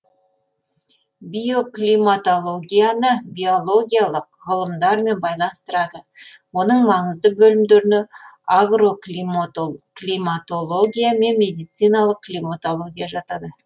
биоклиматологияны биологиялық ғылымдармен байланыстырады оның маңызды бөлімдеріне агроклиматология мен медициналық климатология жатады